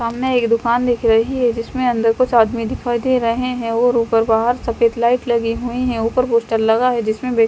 सामने एक दुकान दिख रही है जिसमें अंदर कुछ आदमी दिखाई दे रहे हैं और ऊपर बाहर सफेद लाइट लगी हुई है ऊपर पोस्टर लगा है जिसमें--